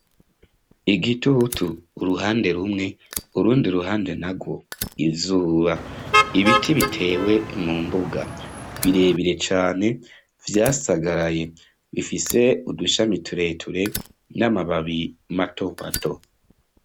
Igitutu uruhande rumwe, urundi ruhande narwo izuba, ibiti bitewe mumbuga, birebire cane, vyasagaraye, bifise udushami tureture n'amababi matomato.